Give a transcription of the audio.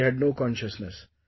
And she had no consciousness